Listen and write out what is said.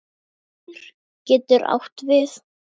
Bolur getur átt við